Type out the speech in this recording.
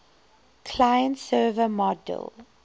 client server model